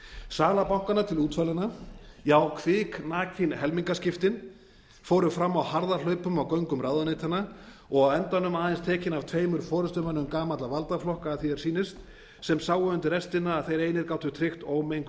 sala bankanna til útvalinna á kviknakin helmingaskiptin fóru fram á harðahlaupum á göngum ráðuneytanna og á endanum aðeins tekin af tveimur forustumönnum gamalla valdaflokka að því er sýnist sem sáu undir restina að þeir einir gátu tryggt ómenguð